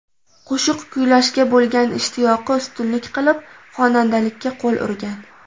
Qo‘shiq kuylashga bo‘lgan ishtiyoqi ustunlik qilib, xonandalikka qo‘l urgan.